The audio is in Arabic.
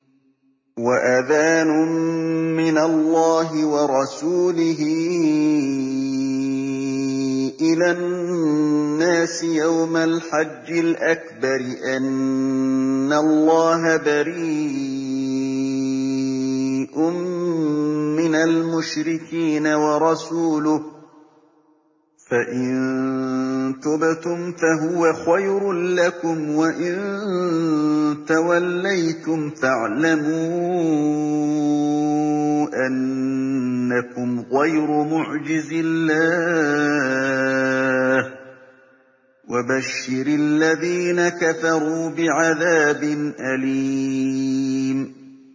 وَأَذَانٌ مِّنَ اللَّهِ وَرَسُولِهِ إِلَى النَّاسِ يَوْمَ الْحَجِّ الْأَكْبَرِ أَنَّ اللَّهَ بَرِيءٌ مِّنَ الْمُشْرِكِينَ ۙ وَرَسُولُهُ ۚ فَإِن تُبْتُمْ فَهُوَ خَيْرٌ لَّكُمْ ۖ وَإِن تَوَلَّيْتُمْ فَاعْلَمُوا أَنَّكُمْ غَيْرُ مُعْجِزِي اللَّهِ ۗ وَبَشِّرِ الَّذِينَ كَفَرُوا بِعَذَابٍ أَلِيمٍ